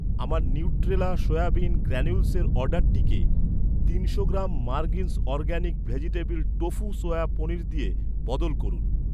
আমার নিউট্রেলা সোয়াবিন গ্র্যানিউলসের অর্ডারটিকে, তিনশো গ্রাম মারগিন্স organic vegetable tofu soya paneer দিয়ে বদল করুন।